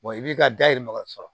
i b'i ka dahirimɛ sɔrɔ